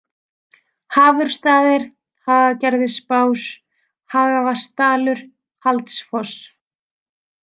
Hafurstaðir, Hagagerðisbás, Hagavatnadalur, Haldsfoss